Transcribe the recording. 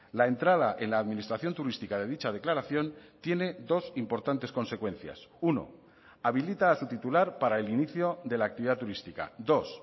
la entrada en la administración turística de dicha declaración tiene dos importantes consecuencias uno habilita a su titular para el inicio de la actividad turística dos